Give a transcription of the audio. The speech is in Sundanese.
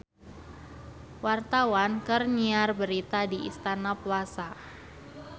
Wartawan keur nyiar berita di Istana Plaza